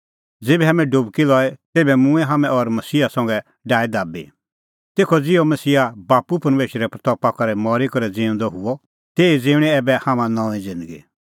ज़ेभै हाम्हैं डुबकी लई तेभै मूंऐं हाम्हैं और मसीहा संघै डाहै दाबी तेखअ ज़िहअ मसीहा बाप्पू परमेशरे महिमां करै मरी करै ज़िऊंदअ हुअ ऐबै ज़िऊंणीं हाम्हां नऊंईं ज़िन्दगी